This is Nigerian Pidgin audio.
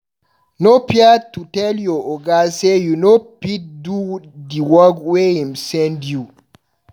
No fear to tell your oga sey you no fit do di work wey im send you.